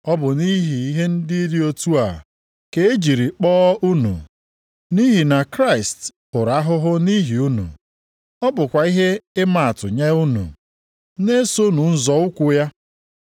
Ọ bụ nʼihi ihe dị otu a, ka e jiri kpọọ unu, nʼihi na Kraịst hụrụ ahụhụ nʼihi unu. Ọ bụkwa ihe ịmaatụ nye unu. Na-esonụ nzọ ụkwụ ya.